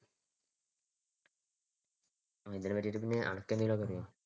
ഇതിനെപറ്റി പിന്നെ അനക്കെന്തേങ്കിലും ഒക്കെ അറിയൊ?